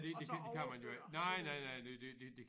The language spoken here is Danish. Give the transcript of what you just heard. Og så overføre penge